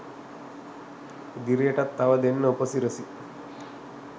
ඉදිරියටත් තව දෙන්න උපසිරසි